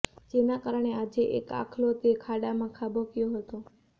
જેના કારણે આજે એક આખલો તે ખાડામાં ખાબક્યો હતો